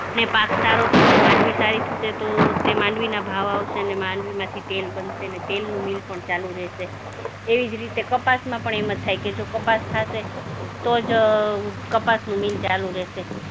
ને પાક સારો થશે, માંડવી સારી થશે તો તે માંડવીના ભાવ આવશે ને માંડવીમાંથી તેલ બનશે ને તેલનું મિલ પણ ચાલુ રહેશે એવી જ રીતે કપાસમાં પણ એમ જ થાય કે જો કપાસ થાશે તો જ કપાસનું મિલ ચાલુ રહેશે.